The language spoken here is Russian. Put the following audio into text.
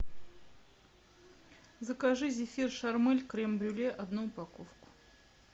закажи зефир шармэль крем брюле одну упаковку